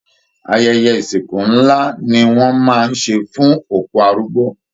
Ayẹyẹ ìsìnkú nlá ní wọn máa n ṣe fún òkú arúgbó.